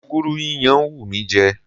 Gúgúrú yíyan ń wù mí jẹ.